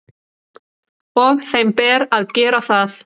Og þeim ber að gera það.